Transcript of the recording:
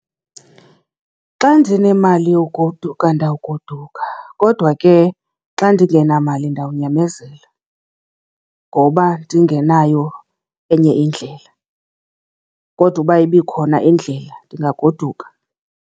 Xa ndinemali yogoduka ndawugoduka kodwa ke xa ndingenamali ndawunyamezela ngoba ndingenayo enye indlela, kodwa uba ibikhona indlela ndingagoduka.